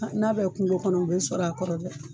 N'a bɛ kungo kɔnɔ u bɛ sɔrɔ a kɔrɔ dɛ.